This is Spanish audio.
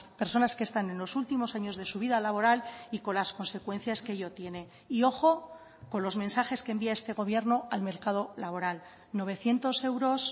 personas que están en los últimos años de su vida laboral y con las consecuencias que ello tiene y ojo con los mensajes que envía este gobierno al mercado laboral novecientos euros